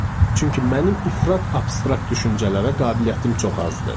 Çünki mənim ifrat abstrakt düşüncələrə qabiliyyətim çox azdı.